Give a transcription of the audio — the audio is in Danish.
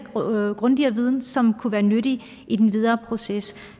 og grundigere viden som kunne være nyttig i den videre proces